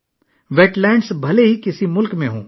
wait lands کسی بھی ملک میں ہو سکتی ہیں